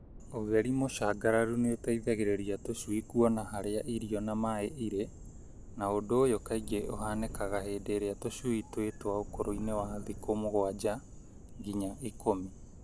Utheri mũcangararu nĩũteithagĩrĩria tũcui kũona harĩa irio na maaĩ irĩ na ũndũ ũyũ kaĩngĩ ũhanĩkaga hĩndĩ ĩrĩa tũcui twĩ twa ũkũrũ-inĩ wa thikũ mũgwanja nginya ikũmi.